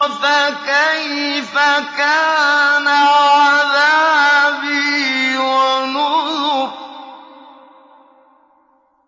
فَكَيْفَ كَانَ عَذَابِي وَنُذُرِ